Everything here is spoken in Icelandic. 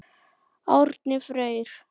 Árni Freyr.